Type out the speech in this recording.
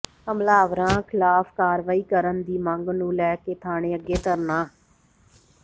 ਹਮਲਾਵਰਾਂ ਖ਼ਿਲਾਫ਼ ਕਾਰਵਾਈ ਕਰਨ ਦੀ ਮੰਗ ਨੂੰ ਲੈ ਕੇ ਥਾਣੇ ਅੱਗੇ ਧਰਨਾ